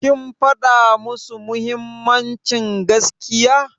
Kin faɗa musu mahimmancin gaskiya?